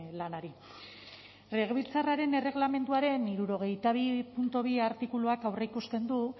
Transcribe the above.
lanari legebiltzarraren erregelamenduaren hirurogeita bi puntu bi artikuluak aurreikusten du